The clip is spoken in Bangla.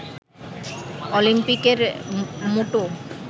অলিম্পিকের মোটো